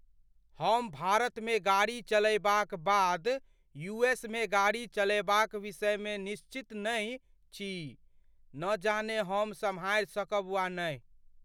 हम भारतमे गाड़ी चलयबाक बाद यू एस मे गाड़ी चलयबाक विषयमे निश्चित नहि छी। न जाने हम सम्हारि सकब वा नहि।